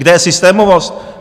Kde je systémovost?